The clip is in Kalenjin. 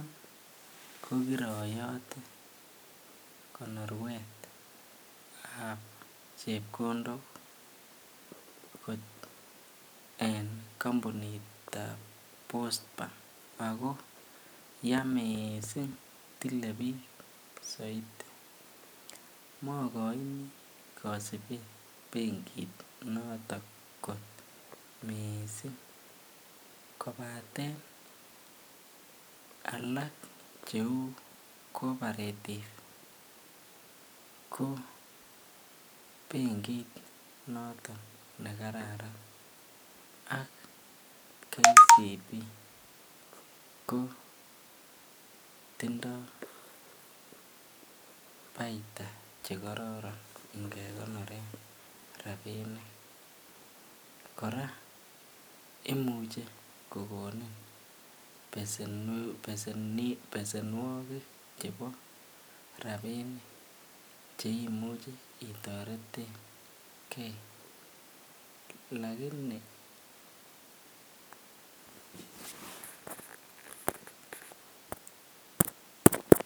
Ko kiroyote konorwetab chepkondok en kombunitab Post bank ak ko yaa mising tilee biik soiti, mokoini kosibet benkinoton kot mising kobaten alak cheu Co-oparative ko benkit noton nekararan ak KCB ko tindo baita chekororon ingekonoren rabinik, kora imuche kokonin besenwokik chebo rabinik cheimuche itoretenge lakini.